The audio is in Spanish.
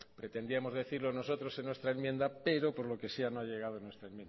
pretendíamos decirlo nosotros en nuestra enmienda pero por lo que sea no ha llegado en nuestra